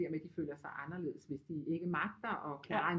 Der med de føler sig anderledes hvis de ikke magter at klare en